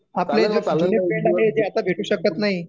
आपले जे जुने फ्रेंड आहे ते आता भेटू शकत नाही